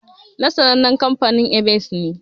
Na sannanen kamfanin "Evans" ne.